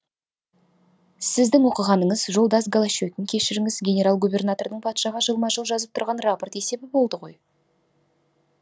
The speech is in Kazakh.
сіздің оқығаныңыз жолдас голощекин кешіріңіз генерал губернатордың патшаға жылма жыл жазып тұрған рапорт есебі болды ғой